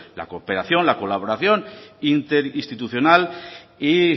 la cooperación la colaboración interinstitucional y